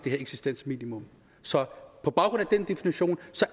eksistensminimum så på baggrund af den definition